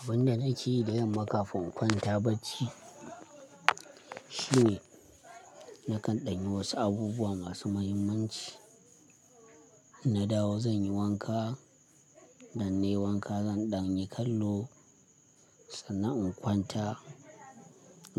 Abin da nake yi da yamma kafin in kwanta bacci shine nakan ɗanye wasu abubuwa masu muhimmanci. Na dawo zan yi wanka, idan ne wanka zan ɗanyi kallo sannan in kwanta